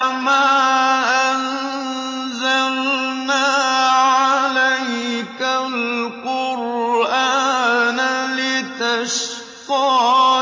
مَا أَنزَلْنَا عَلَيْكَ الْقُرْآنَ لِتَشْقَىٰ